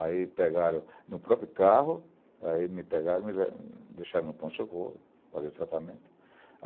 Aí pegaram no próprio carro, aí me pegaram e me deixaram no pronto de socorro, fazer tratamento.